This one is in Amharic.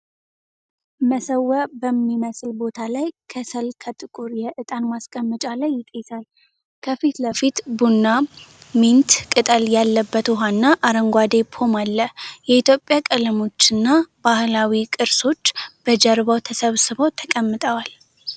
መሰዊያ በሚመስል ቦታ ላይ፣ ከሰል ከጥቁር የዕጣን ማስቀመጫ ላይ ይጤሳል። ከፊት ለፊት ቡና፣ ሚንት ቅጠል ያለበት ውሃና አረንጓዴ ፖም አለ። የኢትዮጵያ ቀለሞችና ባህላዊ ቅርሶች በጀርባው ተሰብስበው ተቀምጠዋል።